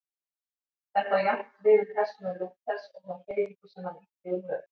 Þetta á jafnt við um persónu Lúthers og þá hreyfingu sem hann ýtti úr vör.